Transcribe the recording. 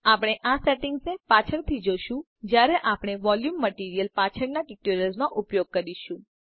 આપણે આ સેટિંગ્સને પાછળથી જોશું જયારે આપણે વોલ્યુંમ મટીરીઅલ પાછળના ટ્યુટોરિયલ્સ માં ઉપયોગ કરીશું